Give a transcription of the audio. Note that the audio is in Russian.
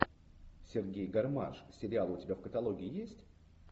сергей гармаш сериал у тебя в каталоге есть